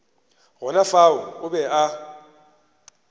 gona fao o be a